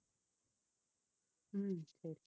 உம் சரி